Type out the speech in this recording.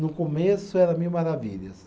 No começo, era mil maravilhas.